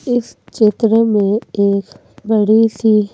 इस चित्र में एक बड़ी सी --